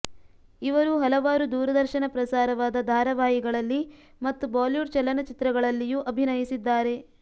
ಇವರು ಹಲವಾರು ದೂರದರ್ಶನ ಪ್ರಸಾರವಾದ ಧಾರಾವಾಹಿಗಳಲ್ಲಿ ಮತ್ತು ಬಾಲಿವುಡ್ ಚಲನಚಿತ್ರಗಳಲ್ಲಿಯೂ ಅಭಿನಯಿಸಿದ್ದಾರೆ